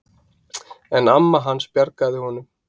En amma hans bjargaði honum.